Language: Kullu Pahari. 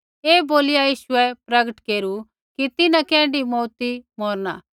ऐ बोलीया यीशुऐ प्रकट केरू कि तिन्हां कैण्ढी मौऊती मौरणा